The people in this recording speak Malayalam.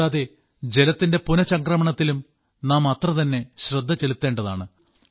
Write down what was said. കൂടാതെ ജലത്തിന്റെ പുനഃചംക്രമണത്തിലും നാം അത്രതന്നെ ശ്രദ്ധ ചെലുത്തേണ്ടതാണ്